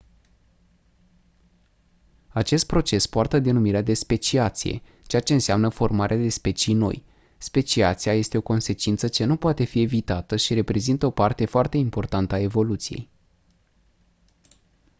acest proces poartă denumirea de speciație, ceea ce înseamnă formarea de specii noi. speciația este o consecință ce nu poate fi evitată și reprezintă o parte foarte importantă a evoluției